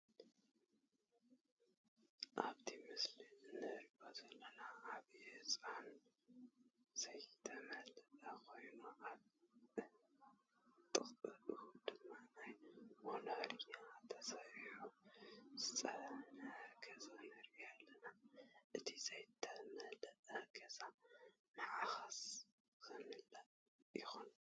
ኣብቲ ምስሊ እንሪኦ ዘለና ዓብይ ህንፃ ዘይተመለአ ኮይኑ ኣብ ጥቅኡ ድማ ናይ ሞኖርያ ተሰሪሑ ዝፀነሓ ገዛ ንርኢ ኣለና። እቲ ዘይተመለአ ገዛ መዓዝ ክምላእ ይኮን?